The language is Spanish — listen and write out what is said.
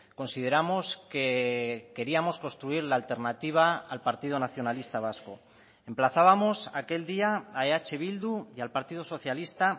consideramos que queríamos construir la alternativa al partido nacionalista vasco emplazábamos aquel día a eh bildu y al partido socialista